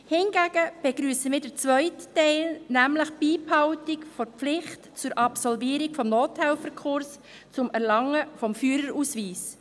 Hingegen begrüssen wir den zweiten Teil, nämlich die Beibehaltung der Pflicht zur Absolvierung des Nothelferkurses zum Erlangen des Fahrausweises.